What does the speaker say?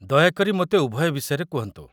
ଦୟାକରି ମୋତେ ଉଭୟ ବିଷୟରେ କୁହନ୍ତୁ